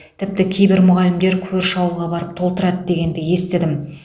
тіпті кейбір мұғалімдер көрші ауылға барып толтырады дегенді естідім